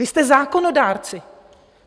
Vy jste zákonodárci.